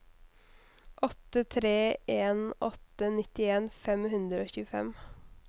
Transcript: åtte tre en åtte nittien fem hundre og tjuefem